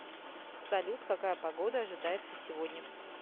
салют какая погода ожидается сегодня